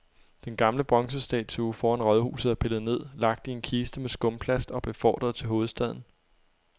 Den gamle bronzestatue foran rådhuset er pillet ned, lagt i en kiste med skumplast og befordret til hovedstaden.